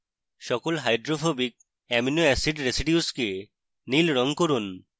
সকল hydrophobic amino acid residues কে নীল রঙ করুন